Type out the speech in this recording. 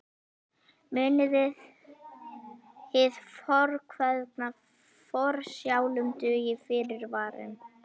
Munið hið fornkveðna: Forsjálum dugir fyrirvarinn.